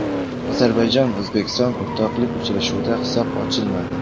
Ozarbayjon O‘zbekiston o‘rtoqlik uchrashuvida hisob ochilmadi.